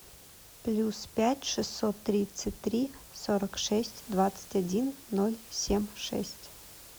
плюс пять шестьсот тридцать три сорок шесть двадцать один ноль семь шесть